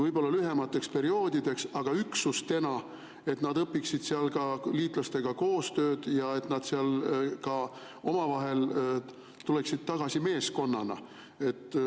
Võib-olla lühemateks perioodideks, aga üksustena, et nad õpiksid seal ka liitlastega koostööd ja et nad tuleksid sealt tagasi meeskonnana.